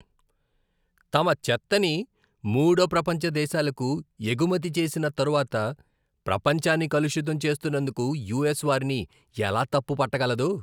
తమ చెత్తని మూడో ప్రపంచ దేశాలకు ఎగుమతి చేసిన తరువాత ప్రపంచాన్ని కలుషితం చేస్తున్నందుకు యూఎస్ వారిని ఎలా తప్పు పట్ట గలదు?